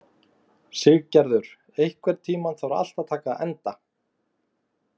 Siggerður, einhvern tímann þarf allt að taka enda.